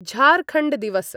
झारखण्डदिवस